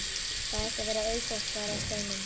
Það ætti að vera auðsótt svaraði Steinunn.